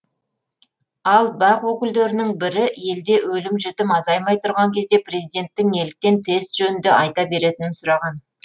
ал бақ өкілдерінің бірі елде өлім жітім азаймай тұрған кезде президенттің неліктен тест жөнінде айта беретінін сұраған